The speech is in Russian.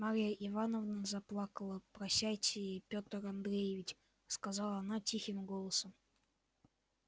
марья ивановна заплакала прощайте пётр андреич сказала она тихим голосом